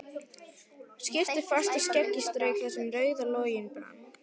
Skyrpti fast og skeggið strauk þar sem rauður loginn brann.